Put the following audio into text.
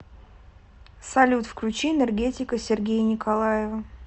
салют включи энергетика сергея николаева